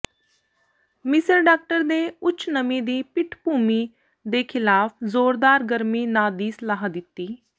ਮਿਸਰ ਡਾਕਟਰ ਦੇ ਉੱਚ ਨਮੀ ਦੀ ਪਿੱਠਭੂਮੀ ਦੇ ਖਿਲਾਫ ਜ਼ੋਰਦਾਰ ਗਰਮੀ ਨਾ ਦੀ ਸਲਾਹ ਦਿੱਤੀ